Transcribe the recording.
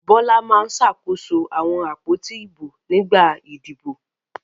Bọ́lá máa ń ṣàkóso àwọn àpótí ìbò nígbà ìdìbò.